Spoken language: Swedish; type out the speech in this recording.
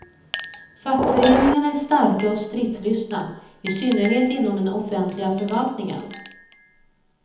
Fackföreningarna är starka och stridslystna, i synnerhet inom den offentliga förvaltningen.